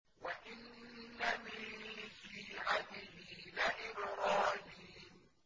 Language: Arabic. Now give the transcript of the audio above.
۞ وَإِنَّ مِن شِيعَتِهِ لَإِبْرَاهِيمَ